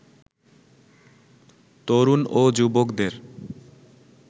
তরুণ ও যুবকদের